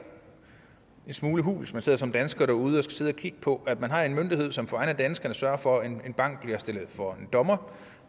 en smule hult når man sidder som dansker derude og skal sidde og kigge på at man har en myndighed som på vegne af danskerne sørger for at en bank bliver stillet for en dommer